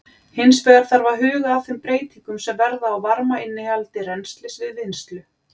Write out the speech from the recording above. Hins vegar þarf að huga að þeim breytingum sem verða á varmainnihaldi rennslis við vinnslu.